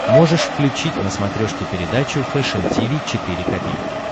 можешь включить на смотрешке передачу фэшн ти ви четыре ка